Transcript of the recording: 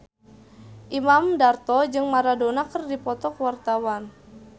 Imam Darto jeung Maradona keur dipoto ku wartawan